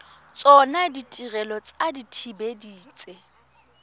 tsona ditirelo tsa dithibedi tse